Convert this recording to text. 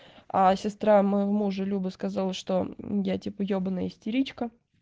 а сестра моего мужа люба сказала что мм я типа ёбаная истеричка